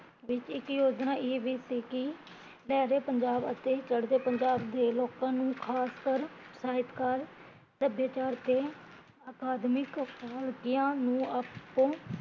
ਵਿੱਚ ਇੱਕ ਯੋਜਨਾ ਇਹ ਵੀ ਸੀ ਕੀ ਲਹਿਦੇ ਪੰਜਾਬ ਅਤੇ ਚੜਦੇ ਪੰਜਾਬ ਦੇ ਲੋਕਾਂ ਨੂ ਖਾਸ ਕਰ ਸਾਹਿਤਕਾਰ, ਸਭਿਆਚਾਰ ਤੇ ਅਕਾਦਮਿਕ